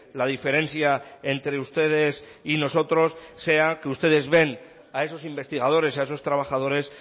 la diferencia entre ustedes y nosotros sea que ustedes ven a esos investigadores a esos trabajadores